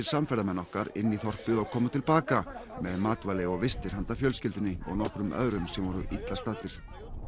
samferðamenn okkar inn í þorpið og komu til baka með matvæli og vistir handa fjölskyldunni og nokkrum öðrum sem voru illa staddir